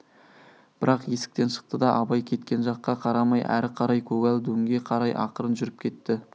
бірақ есіктен шықты да абай кеткен жаққа қарамай әрі қарай көгал дөңге қарай ақырын жүріп кетті